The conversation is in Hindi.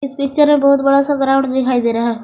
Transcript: इस पिक्चर में बहुत बड़ा सा ग्राउंड दिखाई दे रहा है।